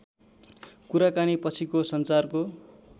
कुराकानी पछिको सञ्चारको